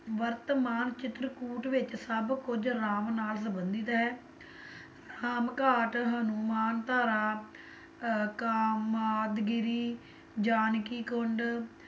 ਵਰਤਮਾਨ ਚਿਤਰਕੂਟ ਵਿੱਚ ਸਭ ਕੁੱਝ ਰਾਮ ਨਾਲ ਸੰਬੰਧਿਤ ਹੈ, ਰਾਮਘਾਟ, ਹਨੂੰਮਾਨ ਧਾਰਾ ਅਹ ਕਾਮਾਦਗਿਰੀ, ਜਾਨਕੀ ਕੁੰਡ,